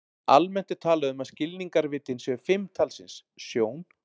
Almennt er talað um að skilningarvitin séu fimm talsins: Sjón.